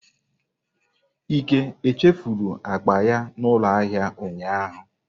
Ike chefuru akpa ya n'ulo ahia ụnyahụ?